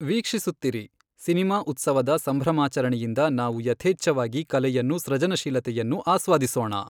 ವೀಕ್ಷಿಸುತ್ತಿರಿ, cinema ಉತ್ಸವದ ಸಂಭ್ರಮಾಚರಣೆಯಿಂದ ನಾವು ಯಥೇಚ್ಛವಾಗಿ ಕಲೆಯನ್ನು ಸೃಜನಶೀಲತೆಯನ್ನು ಆಸ್ವಾದಿಸೋಣ.